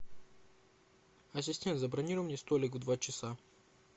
ассистент забронируй мне столик в два часа